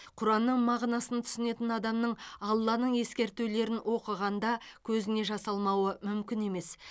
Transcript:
құранның мағынасын түсінетін адамның алланың ескертулерін оқығанда көзіне жас алмауы мүмкін емес